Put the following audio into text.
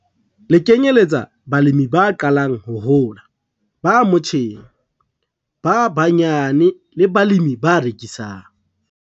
Le kenyelletsa balemi ba qalang ho hola, ba motjheng, ba banyane le balemi ba rekisang.